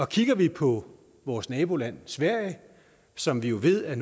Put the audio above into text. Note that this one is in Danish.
kigger vi på vores naboland sverige som vi ved er